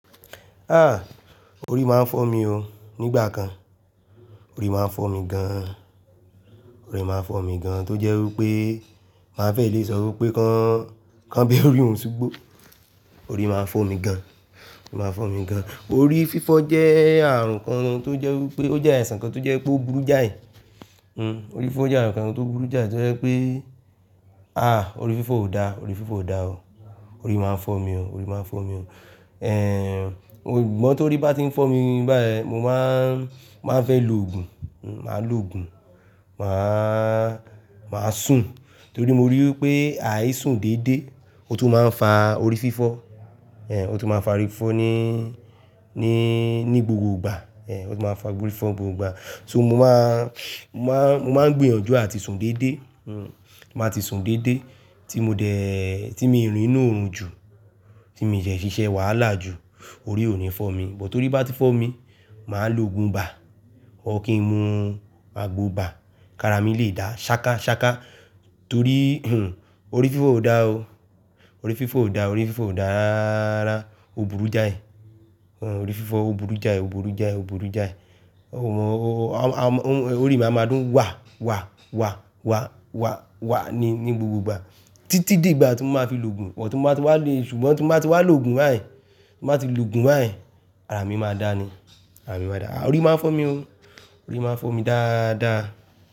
Ah! Orí máa ń fọ́ mi o. Nígbà kan, orí máa ń fọ́ mi gan an. Orí máa ń fọ́ mi gan an, tó jẹ́ wí pé, màá fẹ́ lè sọ wí pé, kán be orí òun ṣugbo. Orí máa ń fọ́ mi gan an. Orí máa ń fọ́ mi gan an. Orí fífọ́ jẹ́ àrùn kan tó jẹ́ wí pé ó jẹ́ àìsàn kan tó jẹ́ pé ó burú jáì. Orí fífọ́ jẹ́ àrùn kan tó burú jáì tó jẹ́ wípé, àh! Orí fífọ́ ò da, orí fífọ́ ò da o. Orí máa ń fọ́ mi o. Orí máa ń fọ́ mi o. Gbọ́ tó rí bá ti ń fọ́ mi báyìí, mo máa ń, máa ń fẹ́ lòògùn. Màá lòògùn, màá, màá sùn. Torí mo rí wípé, àì sùn dédé, ó tún máa ń fa orí fífọ́. Ó tún máa ń fa orí fífọ́ ní, ní gbogbo ìgbà. Ó tún máa ń fa orí fífọ́ gbogbo ìgbà. So mo máa ń, mo máa ń gbìyànjú àti sùn dédé. Màá ti sùn dédé tí mo dẹ̀, tí mi ò rìn nú òòrùn jù, tí mi dẹ ṣíṣe wàhálà jù, orí ò ní fọ́ mi. Bọ́ tó rí bá ti fọ́ mi, màá lòògùn bà. Ọ̀ kí n mu àgbo bà, kí ara mi lè dá ṣááká ṣááká. Torí, orí fífọ́ ò da o. Orí fífọ́ ò da, orí fífọ́ ò da rárá. O burú jáì. Orí fífọ́ o burú jáì, o burú jáì, o burú jáì. Orí mi a máa dún wa, wa, wa, wa, wa, wa ní gbogbo ìgbà títí di ìgbà tí mo máa fi lòògùn ọ̀. Tí mo bá ti wá le, ṣùgbọ́n tí mo bá ti wá lòògùn báyìí, tí mo bá ti lòògùn báyìí, ara mi máa dá ni. Ara mi máa dá. Orí máa ń fọ́ mi o. Orí máa ń fọ́ mi dáadáa.